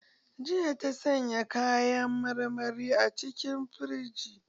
Jiya ta sanya kayan marmari a cikin firiji.